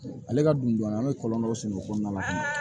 Ale ka dundɔn an bɛ kɔlɔnlɔ dɔ sɔrɔ o kɔnɔna na